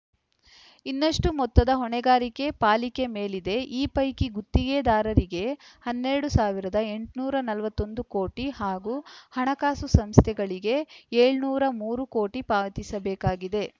ಇಷ್ಟೊಂದು ಮೊತ್ತದ ಹೊಣೆಗಾರಿಕೆ ಪಾಲಿಕೆ ಮೇಲಿದೆ ಈ ಪೈಕಿ ಗುತ್ತಿಗೆದಾರರಿಗೆ ಹನ್ನೆರಡು ಸಾವಿರದ ಎಂಟನೂರ ನಲವತ್ತೊಂದು ಕೋಟಿ ಹಾಗೂ ಹಣಕಾಸು ಸಂಸ್ಥೆಗಳಿಗೆ ಏಳನೂರ ಮೂರು ಕೋಟಿ ಪಾವತಿಸಬೇಕಾಗಿದೆ